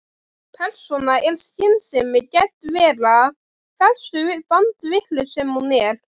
Persóna er skynsemi gædd vera, hversu bandvitlaus sem hún er.